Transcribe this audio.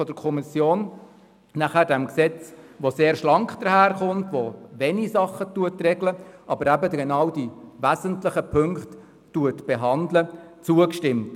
Die Kommission hat diesem sehr schlanken, nur die wesentlichen Punkte regelnden Gesetz zugestimmt.